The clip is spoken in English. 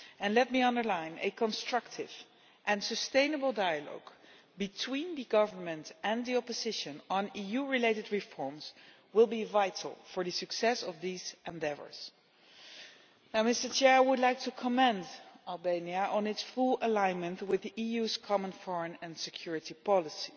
Let me underline that a constructive and sustainable dialogue between the government and the opposition on EU related reforms will be vital for the success of these endeavours. I would like to commend Albania on its full alignment with the EU's common foreign and security policy.